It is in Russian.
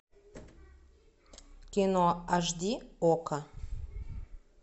кино аш ди окко